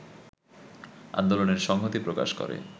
আন্দোলনে সংহতি প্রকাশ করে